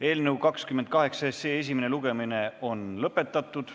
Eelnõu 28 esimene lugemine on lõppenud.